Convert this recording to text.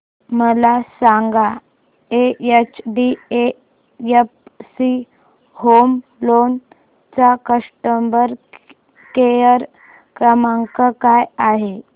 मला सांगा HDFC home loan चा कस्टमर केअर क्रमांक काय आहे